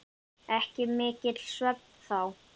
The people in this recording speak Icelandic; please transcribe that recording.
Ekki mikill svefn þá.